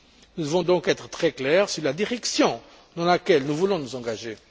Nous devons donc être très clairs sur la direction dans laquelle nous voulons nous engager.